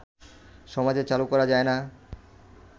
সমাজে চালু করা যায় না